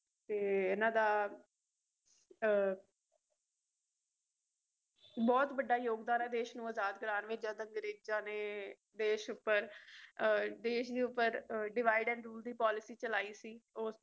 ਤੇ ਇਹਨਾਂ ਦਾ ਬਹੁਤ ਵਡਾ ਯੋਗਦਾਨ ਦੇਸ਼ ਨੂੰ ਆਜ਼ਾਦ ਕਰਵਾਉਣ ਵਿੱਚ ਜਦ ਅੰਗਰੇਜਾਂ ਨੇ ਦੇਸ਼ ਉੱਪਰ ਦੇਸ਼ ਦੇ ਉਪਰ divide and rule ਦੀ policy ਚਲਾਈ ਸੀ